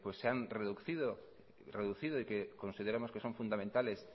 pues se han reducido y que consideramos que son fundamentales